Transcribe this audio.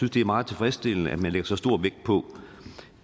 det er meget tilfredsstillende at man lægger så stor vægt på